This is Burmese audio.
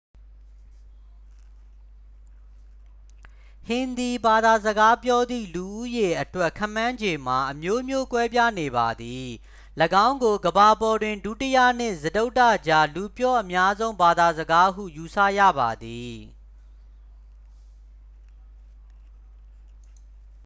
ဟင်ဒီဘာသာစကားပြောသည့် လူဦးရေအတွက် ခန့်မှန်းခြေမှာ အမျိုးမျိုးကွဲပြားနေပါသည ၎င်းကို ကမ္ဘာပေါ်တွင် ဒုတိယနှင့် စတုတ္ထကြား လူပြောအများဆုံး ဘာသာစကားဟု ယူဆရပါသည်